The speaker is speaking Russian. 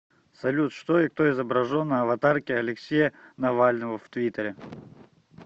салют что и кто изображен на аватарке алексея навального в твиттере